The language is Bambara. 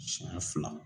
Siɲɛ fila